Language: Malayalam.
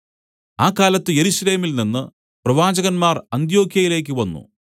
ആ കാലത്ത് യെരൂശലേമിൽനിന്ന് പ്രവാചകന്മാർ അന്ത്യൊക്യയിലേക്ക് വന്നു